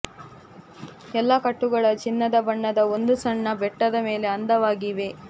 ಎಲ್ಲಾ ಕಟ್ಟುಗಳ ಚಿನ್ನದ ಬಣ್ಣದ ಒಂದು ಸಣ್ಣ ಬೆಟ್ಟದ ಮೇಲೆ ಅಂದವಾಗಿ ಇವೆ